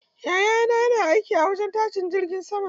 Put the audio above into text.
Yayana yana aiki a wajen tashin jirgin sama.